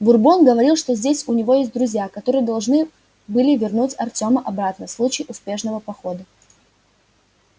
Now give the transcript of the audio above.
бурбон говорил что здесь у него есть друзья которые должны были вернуть артёма обратно в случае успешного похода